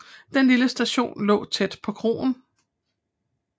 Den lille station lå tæt på kroen